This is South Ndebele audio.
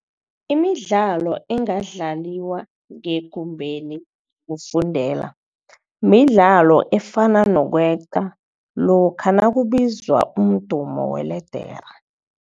Imidlalo engadlaliwa ngekumbeni yokufundela midlalo efana nokweqa lokha nakubizwa umdumo weledere.